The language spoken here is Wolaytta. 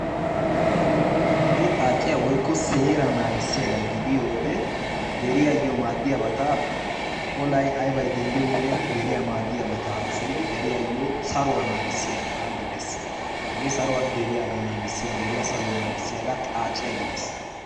Hagee xaaciya woykko seeraa naagissiyaagaa gidiyode deriyaayoo maadiyabata olay aybay denddiyode deriya maadiyabata haasayidi deriyayoo saruwa naagissiyaaga gidees, hagee saruwa deriya saruwa naagissiyaga xaacciya gidees.